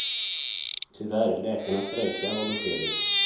Tyvärr, läkarna strejkar, var beskedet.